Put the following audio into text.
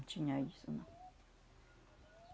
Não tinha isso, não.